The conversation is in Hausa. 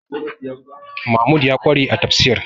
Mahmud ya ƙware a tafsir